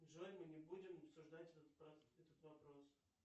джой мы не будем обсуждать этот вопрос